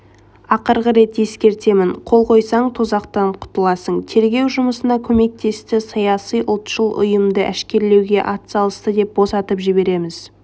ақырғы рет ескертемін қол қойсаң тозақтан құтыласың тергеу жұмысына көмектесті саяси ұлтшыл ұйымды әшкерелеуге атсалысты деп босатып жібереміз